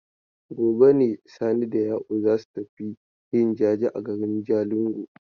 Gobe ne Sani da Ya'u za su tafi yin jaje a garin Jalingo.